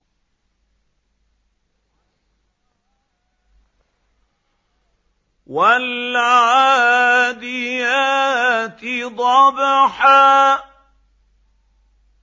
وَالْعَادِيَاتِ ضَبْحًا